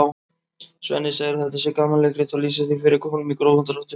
Svenni segir að þetta sé gamanleikrit og lýsir því fyrir honum í grófum dráttum.